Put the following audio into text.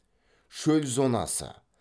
шөл зонасы